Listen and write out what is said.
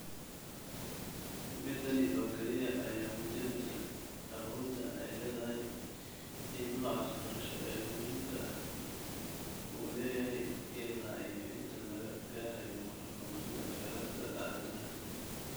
Middaani oo keliya ayaa muujineysa awoodda ay leedahay in nooca waxbarasho ee muhiimka ah uu leeyahay illaa iyo inta laga gaarayo horumarinta kheyraadka aadanaha